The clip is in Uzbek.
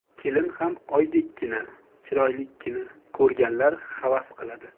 Kelin ham oydekkina, chiroylikkina ko‘rganlar havas qiladi.